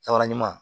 Caman